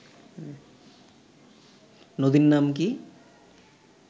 নদীর নাম কি